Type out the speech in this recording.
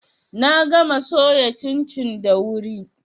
Na gama soya cincin da wuri.